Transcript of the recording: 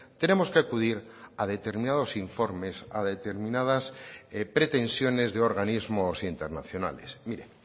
tenemos que acudir a determinados informes a determinadas pretensiones de organismos internacionales mire